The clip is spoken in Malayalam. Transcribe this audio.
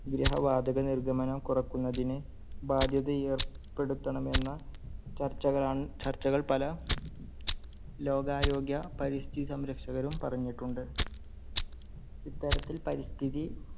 വിരഹവാതകനിർഗമനം കുറയ്ക്കുന്നതിന് ബാധ്യത ഏർപ്പെടുത്തണമെന്ന ചർച്ചകൾ ചർച്ചകൾ പല ലോകാരോഗ്യ പരിസ്ഥിതി സംരക്ഷകരും പറഞ്ഞിട്ടുണ്ട്. ഇത്തരത്തിൽ പരിസ്ഥിതി